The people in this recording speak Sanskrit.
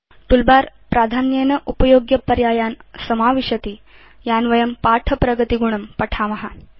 टूलबार प्राधान्येन उपयोग्यपर्यायान् समाविशति यान् वयं पाठप्रगतिगुणं पठेम